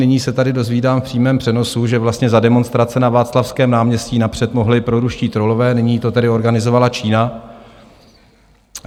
Nyní se tady dozvídám v přímém přenosu, že vlastně za demonstrace na Václavském náměstí napřed mohli proruští trollové, nyní to tedy organizovala Čína.